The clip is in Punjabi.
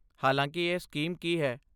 ਹਾਲਾਂਕਿ ਇਹ ਸਕੀਮ ਕੀ ਹੈ?